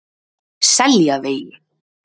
Seljavegi